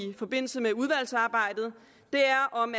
forbindelse med udvalgsarbejdet er om